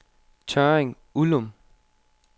Tørring-Uldum